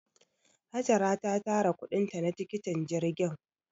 Hajara ta tara kuɗin ta na tikitin jirgin.